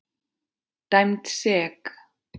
Dæmd sek.